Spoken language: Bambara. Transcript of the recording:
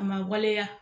A ma waleya